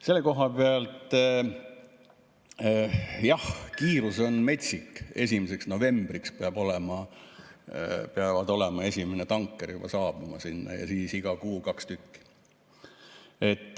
Selle koha pealt jah, kiirus on metsik: 1. novembriks peab esimene tanker juba sinna saabuma ja siis iga kuu kaks tükki.